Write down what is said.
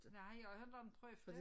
Nej jeg har har heller inte prøvet det